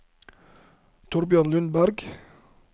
Torbjørn Lundberg